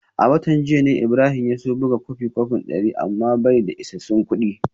A watan jiya ne Ibrahim ya so buga kwafin kwafi dari amma bai da isassun kudi